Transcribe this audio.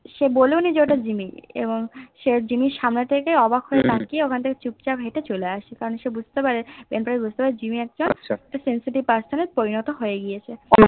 সে ভোলেননি যে ওটা জিম্মি বং সে জিমির সামনে তা অব হয়ে তাকিয়ে ওখান থেকে চুপ চলে আসে কারণ শেষ বুজতে পারে জিম্মি একটা Sensitive person এ পরিণত হয়েছে